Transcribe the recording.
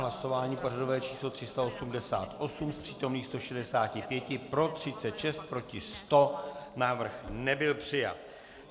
Hlasování pořadové číslo 388, z přítomných 165 pro 36, proti 100, návrh nebyl přijat.